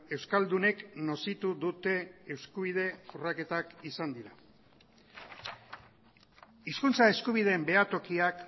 euskaldunek nozitu dute eskubide urraketak izan dira hizkuntza eskubideen behatokiak